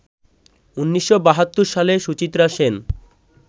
১৯৭২ সালে সুচিত্রা সেন